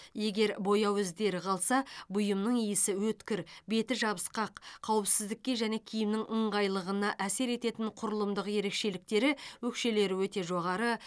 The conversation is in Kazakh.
егер бояу іздері қалса бұйымның иісі өткір беті жабысқақ қауіпсіздікке және киімнің ыңғайлығына әсер ететін құрылымдық ерекшеліктері өкшелері өте жоғары